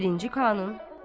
Birinci Kanun.